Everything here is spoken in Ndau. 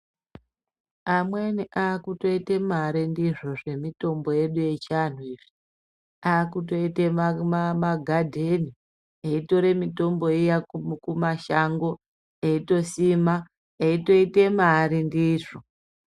Amweni aakutoite mari ndizvo zvemitombo yedu yechiantu iyi. Aakutoite magadheni eitore mitombo iya kumashango eitosima eitoite mari ndizvo.